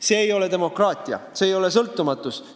See ei ole demokraatia, see ei ole sõltumatus!